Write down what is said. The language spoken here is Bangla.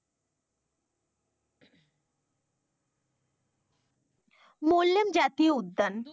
মোল্লেম জাতীয় উদ্যান।